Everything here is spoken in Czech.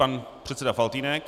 Pan předseda Faltýnek.